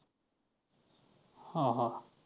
हां हां.